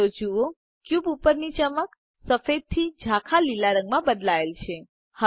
તો જુઓ ક્યુબ ઉપરની ચમક સફેદથી ઝાંખા લીલા રંગમાં બદલાય છે